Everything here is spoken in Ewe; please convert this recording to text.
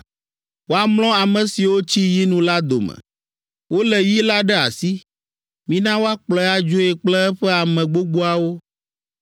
Woamlɔ ame siwo tsi yinu la dome. Wolé yi la ɖe asi, mina woakplɔe adzoe kple eƒe ame gbogboawo.